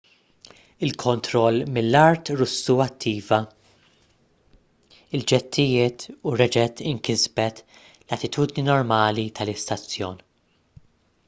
il-kontroll mill-art russu attiva l-ġettijiet u reġgħet inkisbet l-attitudni normali tal-istazzjon